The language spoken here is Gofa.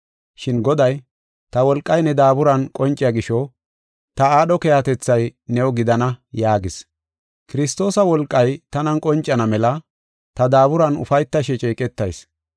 Shin Goday, “Ta wolqay ne daaburan qonciya gisho ta aadho keehatethay new gidana” yaagis. Kiristoosa wolqay tanan qoncana mela ta daaburan ufaytashe ceeqetayis.